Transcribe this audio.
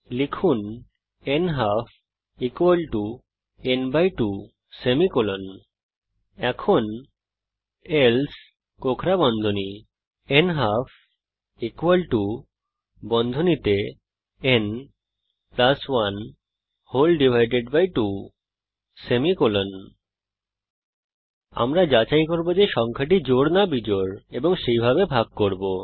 লিখুন নালফ n 2 else নালফ ন 1 2 আমরা যাচাই করব যে সংখ্যাটি জোড় না বিজোড় এবং সেইভাবে ভাগ করব